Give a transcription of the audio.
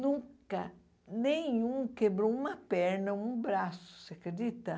nunca, nenhum quebrou uma perna ou um braço, você acredita?